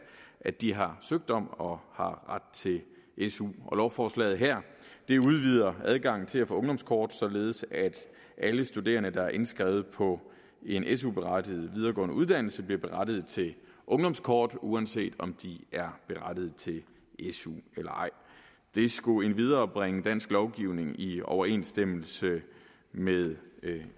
at de har søgt om og har ret til su lovforslaget her udvider adgangen til at få ungdomskort således at alle studerende der er indskrevet på en su berettiget videregående uddannelse bliver berettiget til ungdomskort uanset om de er berettiget til su eller ej det skulle endvidere bringe dansk lovgivning i overensstemmelse med